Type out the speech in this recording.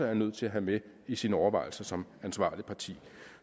er nødt til at have med i sine overvejelser som ansvarligt parti